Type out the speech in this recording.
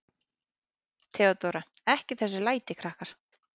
THEODÓRA: Ekki þessi læti, krakkar.